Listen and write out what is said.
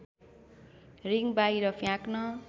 ring बाहिर फ्याँक्न